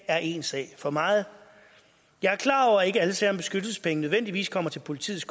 er én sag for meget jeg er klar over at ikke alle sager om beskyttelsespenge nødvendigvis kommer til politiets